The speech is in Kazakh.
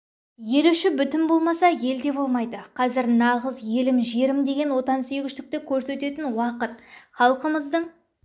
ел іші бүтін болмаса ел де болмайды қазір нағыз елім жерім деген отансүйгіштікті көрсететін уақыт халқымыздың